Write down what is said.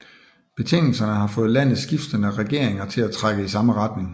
Betingelserne har fået landets skiftende regeringer til at trække i samme retning